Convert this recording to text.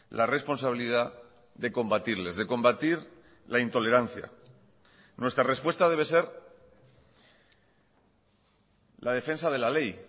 la responsabilidad de combatirles de combatir la intolerancia nuestra respuesta debe ser la defensa de la ley y